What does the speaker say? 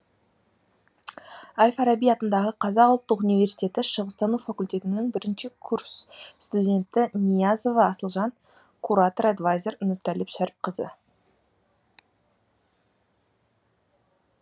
әл фараби атындағы қазақ ұлттық университеті шығыстану факультетінің бірінші курс студенті ниязова асылжан куратор эдвайзер нұртәліп шәріпқазы